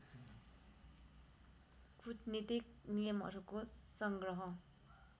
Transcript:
कूटनीतिक नियमहरूको सङ्ग्रह